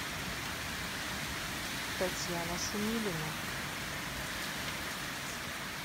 татьяна шумилина